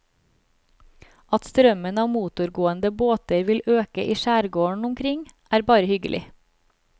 At strømmen av motorgående båter vil øke i skjærgården omkring, er bare hyggelig.